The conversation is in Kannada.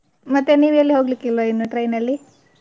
ಮತ್ತೆ ನೀವು ಎಲ್ಲೂ ಹೋಗ್ಲಿಕ್ಕೆ ಇಲ್ವಾ ಇನ್ನು train ಅಲ್ಲಿ?